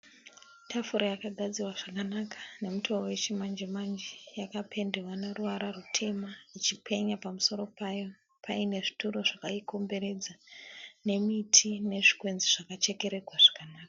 Tafura yakagadzirwa zvakanaka nomutowo wechimanje manje yakapendwa neruvara rutema ichipenya pamusoro payo paine zvituru zvakaikomberedza nemiti nezvikwenzi zvakachekererwa zvakanaka.